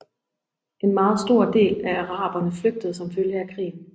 En meget stor del af araberne flygtede som følge af krigen